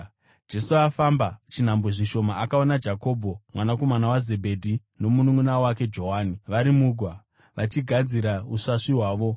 Akati afamba chinhambwe zvishoma, akaona Jakobho mwanakomana waZebhedhi nomununʼuna wake Johani vari mugwa, vachigadzira usvasvi hwavo.